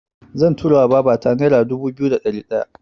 Zan tura wa babata nera dubu biyu da ɗari wata.